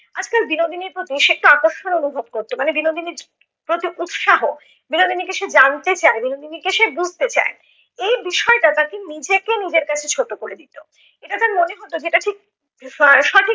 আজকাল বিনোদিনীর প্রতি সে একটু আকর্ষণ অনুভব করত মানে বিনোদিনীর প্রতি উৎসাহ, বিনোদিনীকে সে জানতে চায়, বিনোদিনীকে সে বুজতে চায়, এই বিষয়টা তাকে নিজেকে নিজের কাছে ছোট করে দিত। এটা তার মনে হত যে এটা ঠিক